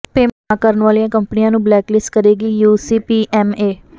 payment ਨਾ ਕਰਨ ਵਾਲੀਆਂ ਕੰਪਨੀਆਂ ਨੂੰ ਬਲੈਕ ਲਿਸਟ ਕਰੇਗੀ ਯੂਸੀਪੀਐੱਮਏ